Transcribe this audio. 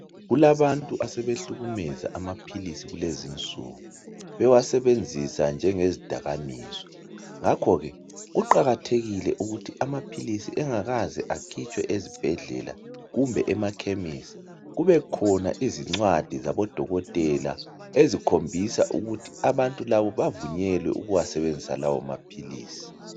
Kulabantu asebehlukumeza amaphilisi kulezinsuku. Bewasebenzisa njenge zidakamizwa ngakho ke kuqakathekile ukuthi amaphilisi engakaze akhitshwe ezibhedlela kumbe emakhemisi kube khona izincwadi zabodoketela ezikhombisa ukuthi abantu labo bavunyelwe ukuwasebenzisa lawo maphilisi.